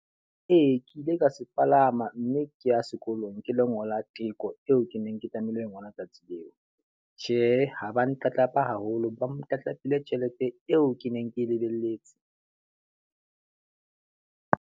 Ee, ke ile ka se palama mme ke ya sekolong ke lo ngola teko eo ke neng ke tlamehile ho e ngola tsatsi leo. Tjhe, ha ba ntlatlapa haholo, ba ntlatlapile tjhelete eo ke neng ke lebelletse.